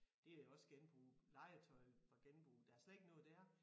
Det jo også genbrug legetøj fra genbrug der slet ikke noget der